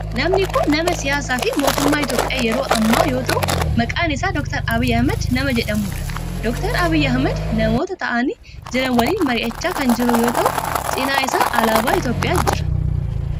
Namni kun nama siyaasaa fi mootummaa Itiyoophiyaa yeroo ammaa yoo ta'u maqaan isaa Dr. Abiyi Ahimeed nama jedhamudha. Dr. Abiyi Ahimeed namoota ta'aanii jiran walin mari'achaa kan jiru yoo ta'u. Cinaa isaa alaabaa Itiyoophiyaa jira.